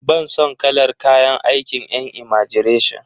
Ban son kalar kayan aikin en imagireshin.